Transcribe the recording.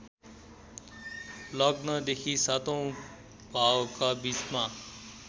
लग्नदेखि सातौं भावका बीचमा